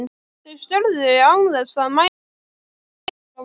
Þau störðu án þess að mæla orð frá vörum.